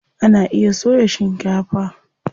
Ana iya soya shikefa.